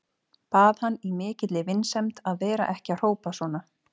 Bað hann í mikilli vinsemd að vera ekki að hrópa svona.